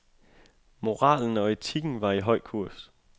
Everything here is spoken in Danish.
Moralen og etikken var i høj kurs.